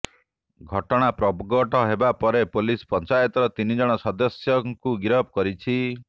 ଘଟଣା ପ୍ରଘଟ ହେବା ପରେ ପୋଲିସ ପଞ୍ଚାୟତର ତିନି ଜଣ ସଦସ୍ୟଙ୍କୁ ଗିରଫ କରିଛି